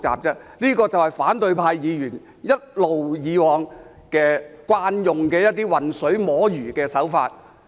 這就是反對派議員一直以來慣用的混水摸魚手法。